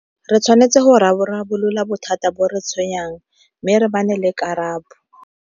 Re tshwanetse go rarabolola bothata bo re tshwenyang mme re le karabo.